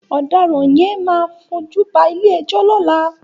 Òdàrán yèn má fójúbà ilé èjò lòlá